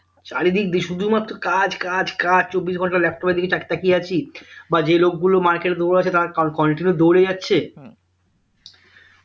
চারিদিক দিয়ে শুধুমাত্র কাজ, কাজ, কাজ চব্বিশ ঘন্টা laptop এর দিকে তাকিয়ে তাকিয়ে আছি বা যে লোকগুলো market এ দুপুরবেলা তারা continue দৌড়ে যাচ্ছে